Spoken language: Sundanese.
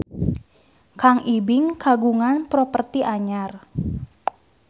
Kang Ibing kagungan properti anyar